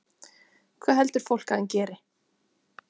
Hvað heldur fólk að hann geri?